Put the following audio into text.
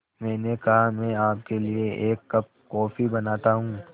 मैंने कहा मैं आपके लिए एक कप कॉफ़ी बनाता हूँ